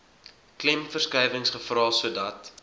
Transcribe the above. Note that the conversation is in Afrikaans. klemverskuiwings gevra sodat